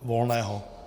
Volného.